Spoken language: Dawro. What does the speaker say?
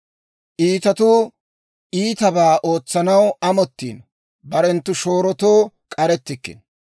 Iitatuu iitabaa ootsanaw amottiino; barenttu shoorotoo k'arettikkino.